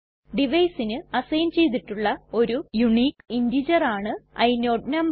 Deviceന് assign ചെയ്തിട്ടുള്ള ഒരു unique integer ആണ് ഇനോട് നമ്പർ